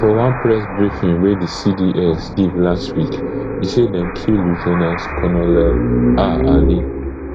for one press briefing wey di cds give last week e say dem kill lieu ten ant colonel ah ali